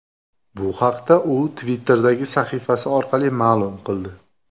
Bu haqda u Twitter’dagi sahifasi orqali ma’lum qildi .